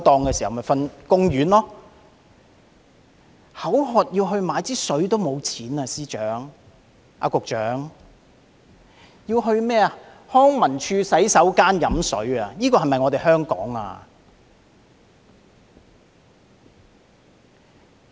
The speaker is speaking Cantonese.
局長，他連口渴買水的錢也沒有，要到康文署的洗手間喝水，這是否我們的香港呢？